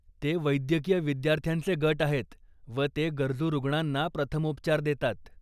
ते वैद्यकीय विद्यार्थ्यांचे गट आहेत व ते गरजू रुग्णांना प्रथमोपचार देतात.